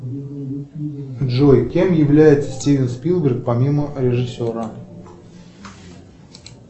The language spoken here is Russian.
джой кем является стивен спилберг помимо режиссера